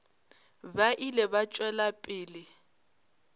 ba ile ba tšwela pele